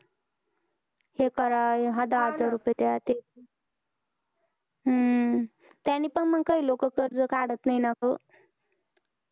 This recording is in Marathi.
हे करा दहा हजार रुपये द्या हम्म त्यांनी पण काही लोक कर्ज काढत नाही ना गं